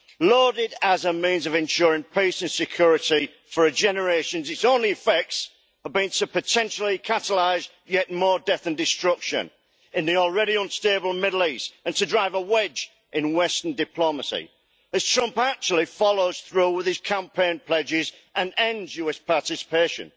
Lauded as a means of ensuring peace and security for generations, its only effects have been to potentially catalyse yet more death and destruction in the already unstable Middle East, and to drive a wedge in western diplomacy, as Trump actually follows through with his campaign pledges and ends US participation.